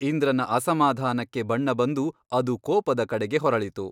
ಇಂದ್ರನ ಅಸಮಾಧಾನಕ್ಕೆ ಬಣ್ಣ ಬಂದು ಅದು ಕೋಪದ ಕಡೆಗೆ ಹೊರಳಿತು.